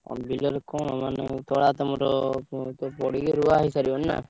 ଆଉ ବିଲ ରେ କଣ ମାନେ ତୋଳା ତମର ପଡିକି ଋଆ ହେଇସାରିବଣି ନାଁ?